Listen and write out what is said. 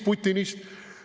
Putinist!